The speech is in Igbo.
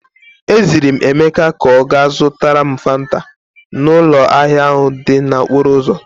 E ziri m Emeka ka ọ gaa zụtara m Fanta n'ụlọ ahịa ahụ dị n'okporo ụzọ.